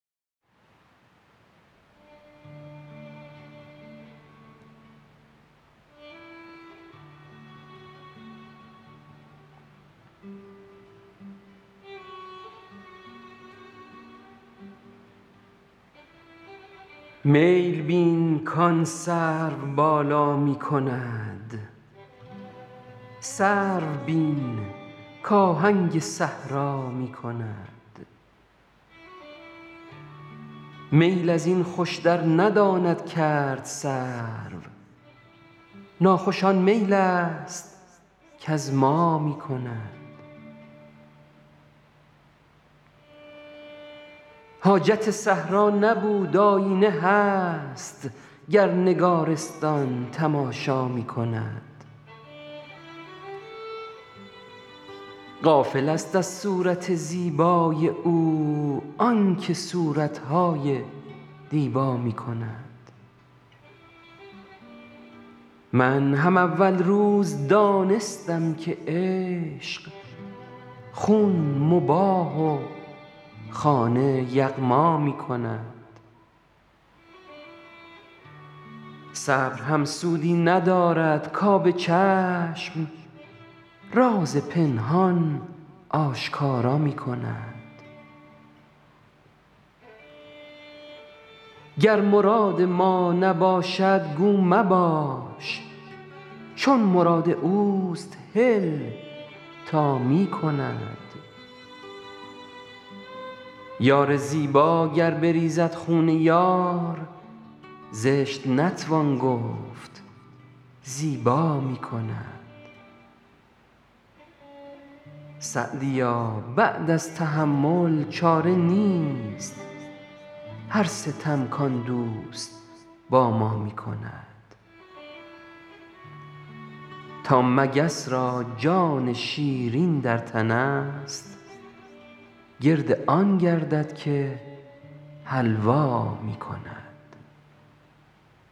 میل بین کآن سروبالا می کند سرو بین کآهنگ صحرا می کند میل از این خوشتر نداند کرد سرو ناخوش آن میل است کز ما می کند حاجت صحرا نبود آیینه هست گر نگارستان تماشا می کند غافلست از صورت زیبای او آن که صورت های دیبا می کند من هم اول روز دانستم که عشق خون مباح و خانه یغما می کند صبر هم سودی ندارد کآب چشم راز پنهان آشکارا می کند گر مراد ما نباشد گو مباش چون مراد اوست هل تا می کند یار زیبا گر بریزد خون یار زشت نتوان گفت زیبا می کند سعدیا بعد از تحمل چاره نیست هر ستم کآن دوست با ما می کند تا مگس را جان شیرین در تنست گرد آن گردد که حلوا می کند